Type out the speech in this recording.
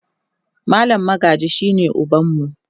mallam Magaji shine ubanmu